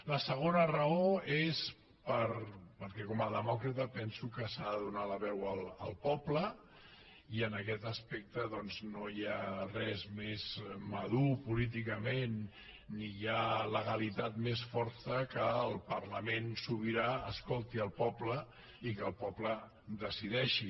la segona raó és perquè com a demòcrata penso que s’ha de donar la veu al poble i en aquest aspecte no hi ha res més madur políticament ni hi ha legalitat més forta que el fet que el parlament sobirà escolti el poble i que el poble decideixi